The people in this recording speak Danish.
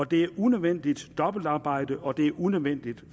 det er et unødvendigt dobbeltarbejde og det er unødvendigt